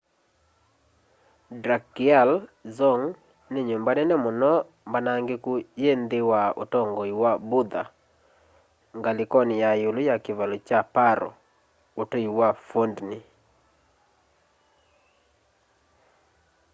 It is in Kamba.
drukgyal dzong ni nyumba nene muno mbanangiku yi nthi wa utongoi wa buddha ngalikoni ya iulu ya kivalo kya paro utui wi phondey